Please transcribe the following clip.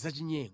zachinyengo.”